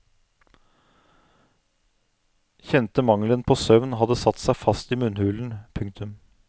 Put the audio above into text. Kjente mangelen på søvn hadde satt seg fast i munnhulen. punktum